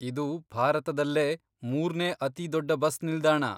ಇದು ಭಾರತದಲ್ಲೇ ಮೂರ್ನೇ ಅತಿ ದೊಡ್ಡ ಬಸ್ ನಿಲ್ದಾಣ.